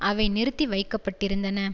அவை நிறுத்தி வைக்க பட்டிருந்தன